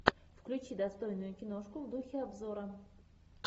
включи достойную киношку в духе обзора